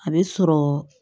A bɛ sɔrɔ